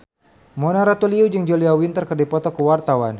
Mona Ratuliu jeung Julia Winter keur dipoto ku wartawan